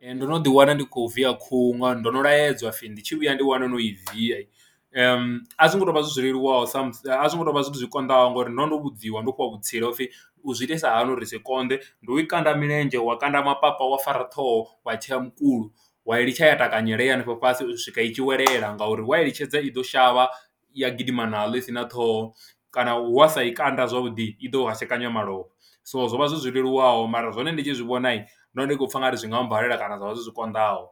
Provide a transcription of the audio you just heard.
Ee, ndo no ḓiwana ndi khou viya khuhu ngauri ndo no laedza ha pfhi ndi tshi vhuya ndi wane no i viya, a zwo ngo tou vha zwi zwi leluwaho sa musi, a zwo ngo tou vha zwithu zwi konḓaho ngori ndo ndo vhudziwa ndo fhiwa vhutsila u pfhi u zwi itisa hani uri zwi se konḓe. Ndi u i kanda milenzhe, wa kanda mapa wa fara ṱhoho wa tshea mukulo, wa i ḽitsha ya takanyela i henefho fhasi u swika i tshi welela ngauri wa i litshedza i ḓo shavha ya gidima naho i si na ṱhoho kana wa sa i kanda zwavhuḓi i ḓo u hashekanya malofha. So zwo vha zwi zwi leluwaho mara zwone ndi tshi zwi vhona nda ndi khou pfha u nga ri zwi nga mbalela kana zwa vha zwithu zwi konḓaho,